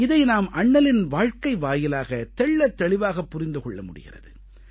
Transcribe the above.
இதை நாம் அண்ணலின் வாழ்க்கை வாயிலாக தெள்ளத் தெளிவாகப் புரிந்து கொள்ள முடிகிறது